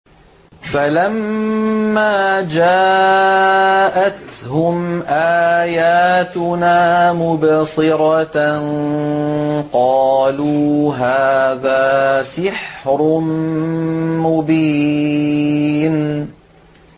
فَلَمَّا جَاءَتْهُمْ آيَاتُنَا مُبْصِرَةً قَالُوا هَٰذَا سِحْرٌ مُّبِينٌ